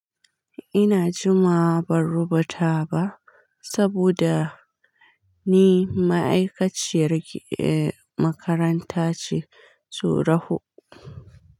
Ina jimawa ban rubuta ba saboda ni ma'aikaciyar eh makaranta ce, su raho.